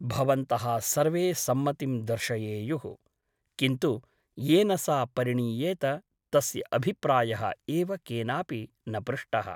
भवन्तः सर्वे सम्मतिं दर्शयेयुः । किन्तु येन सा परिणीयेत तस्य अभिप्रायः एव केनापि न पृष्टः !